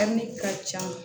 ka ca